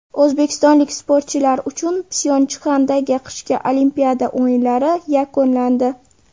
O‘zbekistonlik sportchilar uchun Pxyonchxandagi qishki Olimpiada o‘yinlari yakunlandi.